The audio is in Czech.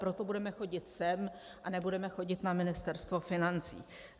Proto budeme chodit sem a nebudeme chodit na Ministerstvo financí.